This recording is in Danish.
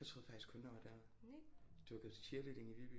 Jeg troede faktisk kun at der var derude du har gået til cheerleading i Viby